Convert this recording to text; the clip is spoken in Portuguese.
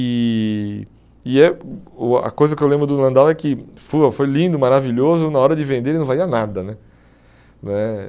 E e é hum o a coisa que eu lembro do Landau é que foi lindo, maravilhoso, na hora de vender ele não valia nada né. Eh